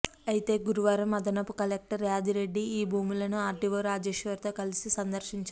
అయితే గురువారం అదనపు కలెక్టర్ యాదిరెడ్డి ఈ భూములను ఆర్డీఓ రాజేశ్వర్తో కలిసి సందర్శించారు